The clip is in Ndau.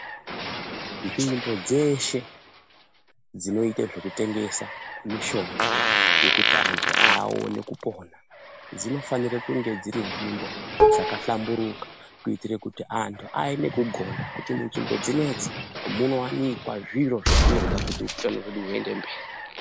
Nzvimbo dzeshe dzinoyita zvekutengesa mishonga yekuti antu awone kupona, dzinofanire kunge dziri nzvimbo dzakahlamburuka kuyitire kuti antu aye nekugonda kuti munzvimbo dzinedzi munowanikwa zviro zvatinoda kuti upenyu hwedu huyende mberi.